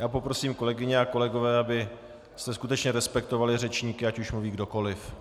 Já poprosím, kolegyně a kolegové, abyste skutečně respektovali řečníky, ať už mluví kdokoli.